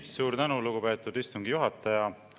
Suur tänu, lugupeetud istungi juhataja!